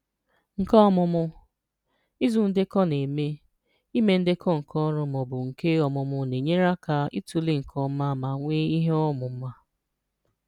Nke Ọmụmụ: Ịzụ Ndekọ Na-eme: Ime ndekọ nke ọrụ ma ọ bụ nke ọmụmụ na-enyere aka ịtụle nke ọma ma nwee ihe ọmụma.